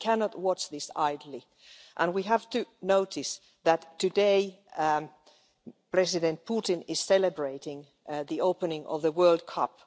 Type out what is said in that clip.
We cannot watch this idly, and we have to notice that today President Putin is celebrating the opening of the World Cup.